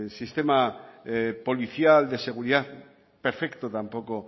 sistema policial de seguridad perfecto tampoco